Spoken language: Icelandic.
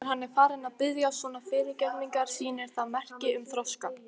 Þegar hann er farinn að biðjast svona fyrirgefningar sýnir það merki um þroska.